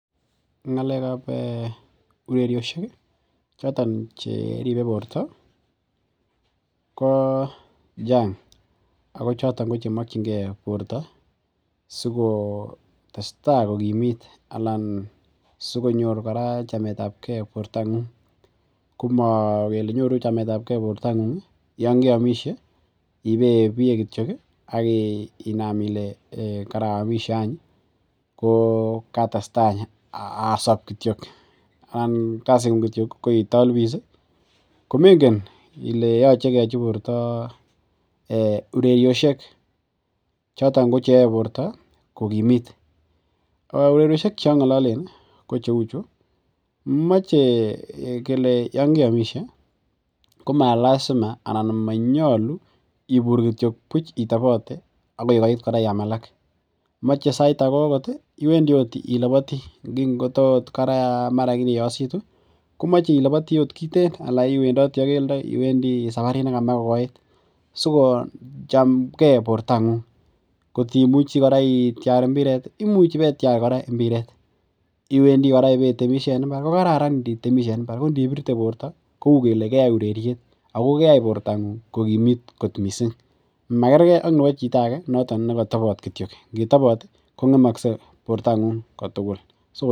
Ng'alekab ireriosiek ih eh choton che ribe borta ko Chang ako chito chemokienge borta asikokimit Alan sikonyor chametabke borta ng'ung, magele nyoru chametabke bortang'ung Yoon keamishe kityok ak akinaam Ile karamishe katestai kityo. Komengen Ile yoche keyachi borta ireriosiek choton cheyae borta kokimiit. Ah ureriosiek ih cheang'alolen ko cheuu chu mache kele Yoon keiamishe komalazima, komaibur buch kityo itaboteagoi koit kora I am alak. Mache sait ake akoth ih , komache ilaboti anan sait age akoth ih iwendii akeldo saparit nemekokoit sikosikochemke bortang'ung. Kot imuche ibetiar imbiret ih , ibetiar sikong'et ih anan I etemishe kokraran kora itemishen ko inibirte borta kou kora ureriet makerke ak chito non katobt kityo ingetabot ih kong'emakse borta ng'ung kotukul.